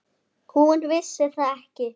Hún vissi það ekki.